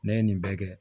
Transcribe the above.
Ne ye nin bɛɛ kɛ